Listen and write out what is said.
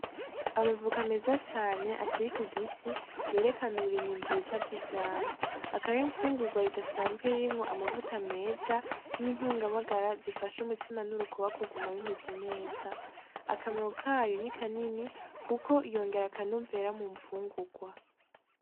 Amavoka meza cane akiri ku giti yerekana uburimyi bwiza bw'ivyamwa, akaba ar'imfungugwa ridasanzwe ririmwo amavuta meza n'intunga magara zifasha umutima n'urukoba kuguma bimeze neza, akamaro kayo nikanini kuko yongera akanovera mu mfungugwa.